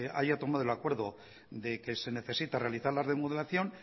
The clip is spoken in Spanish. haya tomado el acuerdo de que se necesita realizar la remodelación